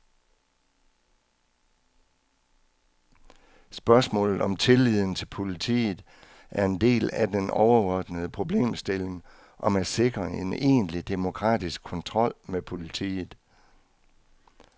Spørgsmålet om tilliden til politiet er en del af den overordnede problemstilling om at sikre en egentlig demokratisk kontrol med politiet.